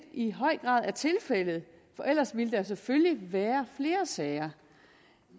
i høj grad er tilfældet for ellers ville der jo selvfølgelig være flere sager